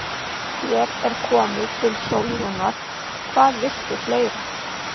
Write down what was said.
Hér er komið til Sólrúnar, hvað viltu fleira?